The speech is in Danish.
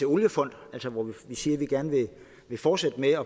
oliefond altså hvor vi siger vi gerne vil fortsætte med at